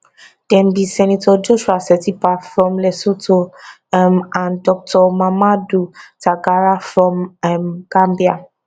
dem be senator joshua setipa from lesotho um and dr mamadou tangara from um gambia